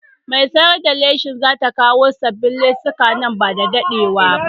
Mai sayar da leshin za ta kawo sabbin lesuka nan ba da daɗewa ba.